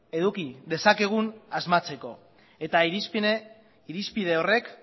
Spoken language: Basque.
eduki dezakegun asmatzeko eta irizpide horrek